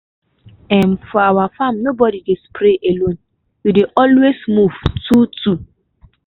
um for our farm nobody dey spray alone. we dey always move two-two.